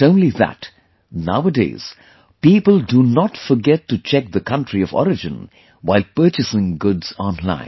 Not only that, nowadays, people do not forget to check the Country of Origin while purchasing goods online